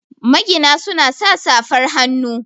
magina suna sa safar hannu